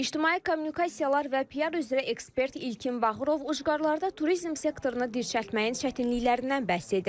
İctimai kommunikasiyalar və PR üzrə ekspert İlkin Bağırov ucqarlarda turizm sektorunu dirçəltməyin çətinliklərindən bəhs edir.